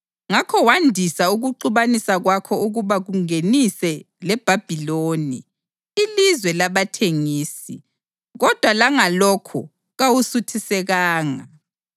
Ngakho wandisa ukuxubanisa kwakho ukuba kungenise leBhabhiloni, ilizwe labathengisi, kodwa langalokhu kawusuthisekanga.